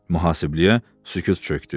Mühasibliyə sükut çökdü.